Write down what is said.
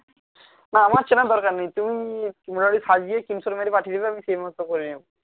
না আমার চেনার দরকার নেই তুমি মোটামুটি সাজিয়ে screenshot মেরে পাঠিয়ে দেবে আমি সেই মতো করে নেবো